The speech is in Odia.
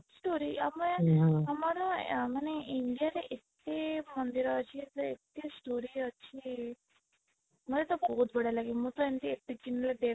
story ଆମେ ହୁଁହୁଁ ଆମର ମାନେ India ରେ ଏତେ ମନ୍ଦିର ଅଛି ଏତେ story ଅଛି ମତେ ତ ବହୁତ ବଢିଆ ଲାଗେ ମୁଁ ତ ଏମିତି ଏତେ ଦିନ ଋ